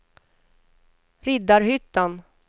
Riddarhyttan